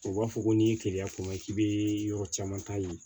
O b'a fɔ ko n'i ye teliya kuma k'i bɛ yɔrɔ caman ta yen